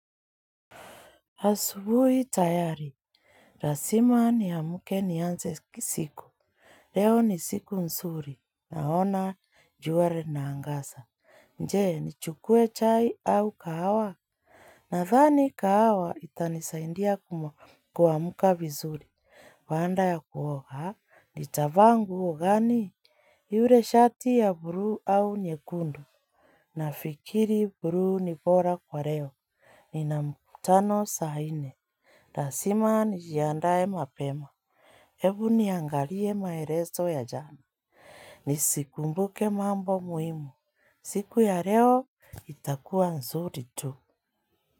Asubuhi tayari lazima ni amke nianze siku. Leo ni siku nzuri. Naona jua lina angaza. Je ni chukue chai au kahawa? Nadhani kahawa itanisaindia kuamuka vizuri. Baada ya kuoga nitavaa nguo gani? Yule shati ya bluu au nyekundu? Nafikiri bluu ni bora kwa leo. Nina mkutano saa nne lazima nijiandae mapema. Ebu niangalie maelezo ya jana. Nisikumbuke mambo muhimu. Siku ya leo itakuwa nzuri tu.